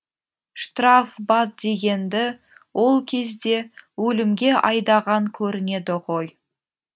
штрафбат дегенді ол кезде өлімге айдаған көрінеді ғой